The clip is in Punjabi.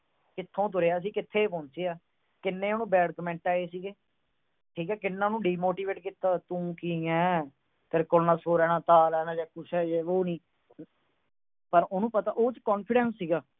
ਕਿੱਥੋਂ ਤੁਰਿਆ ਸੀ, ਕਿੱਥੇ ਪਹੁੰਚਿਆ। ਕਿੰਨੇ ਉਹਨੂੰ bad comment ਆਏ ਸੀਗੇ। ਕਿੰਨਾ ਉਹਨੂੰ demotivate ਕੀਤਾ, ਤੂੰ ਕੀ ਆ। ਤੇਰੇ ਕੋਲ ਨਾ ਸੁਰ ਆ, ਨਾ ਤਾਲ ਆ, ਤੂੰ ਯੇ ਏ, ਵੋ ਨਹੀਂ। ਪਰ ਉਹਦੇ ਚ confidence ਸੀਗਾ।